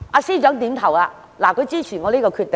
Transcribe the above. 司長也點頭示意支持我的建議。